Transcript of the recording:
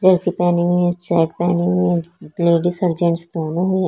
Jersey पहनी हुई है शर्ट पहनी हुई है लेडीज और जेंट्स दोनों हैं ।